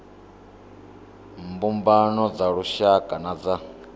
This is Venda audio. mbumbano dza lushaka na dza